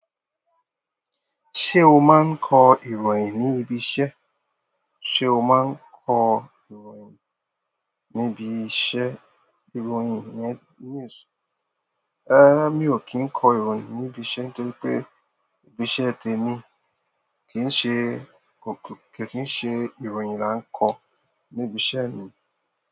Se o maa n ko ìròyìn nibi iṣẹ́? Se o maa n ko ìròyìn nibi iṣẹ́? Ìròyìn yẹn news. Eh mi ò kí ń kọ ìròyìn níbi iṣẹ́ nítorí pé ibi iṣẹ́ tèmi kì í ṣe kò kò kì í ṣe ìròyìn la ń kọ níbi iṣẹ́ mi.